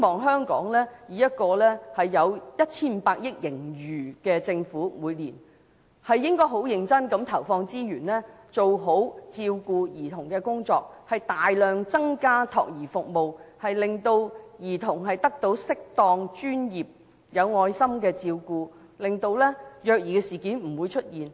香港每年有 1,500 億元盈餘，我希望政府會十分認真地投放資源做好照顧兒童的工作，大量增加託兒服務，令兒童得到適當、專業、有愛心的照顧，令虐兒事件不會出現。